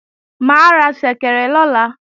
Mà á ra ṣẹ̀kẹ̀rẹ̀ lọ̀la